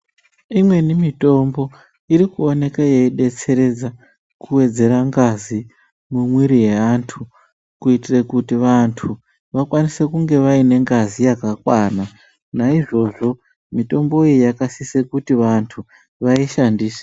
Imweni mitombo iri kuonekwa yeibetseredza kuwedzera ngazi mumwiri yaantu kuitire kuti vanhu vakwanise kunge vaine ngazi yakwana. Naizvozvo mitombo iyi yakasise kuti vanhu vaishandise